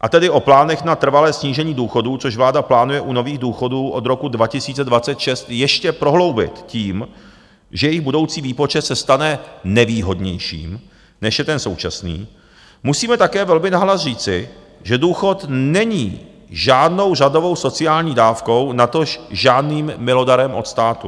a tedy o plánech na trvalé snížení důchodů, což vláda plánuje u nových důchodů od roku 2026 ještě prohloubit tím, že jejich budoucí výpočet se stane nevýhodnějším, než je ten současný, musíme také velmi nahlas říci, že důchod není žádnou řadovou sociální dávkou, natož žádným milodarem od státu.